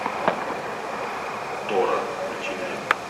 тора включи мне